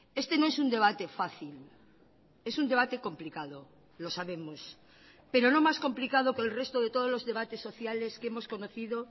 este no es un debate fácil es un debate complicado lo sabemos pero no más complicado que el resto de todos los debates sociales que hemos conocido